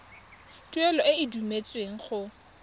tuelo e e duetsweng go